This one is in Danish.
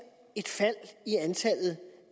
et fald i antallet